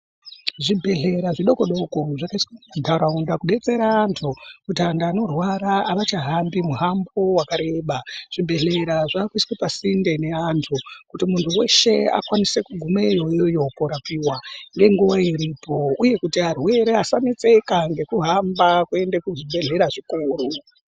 Zvibhedhlera zvidoko doko zvakaiswe mumantaraunda kudetsera antu kuti antu anorwara avachahambi muhambo wakareba. Zvibhedhlera zvakuiswe pasinde neantu kuti muntu weshe akwanise kugumeyo iyoyo korapiwa ngenguwa iripo uye kuti arwere asanetseka ngekuhamba kuende kuzvibhadhlera zvikuru.